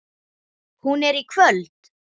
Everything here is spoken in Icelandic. Hún er í kvöld.